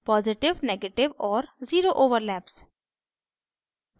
positive negative और zero overlap